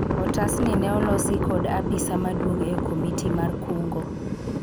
otas ni ne olosi kod apisa maduong' e komiti mar kungo